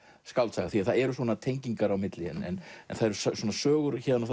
skáldsaga því það eru tengingar á milli en það eru sögur héðan og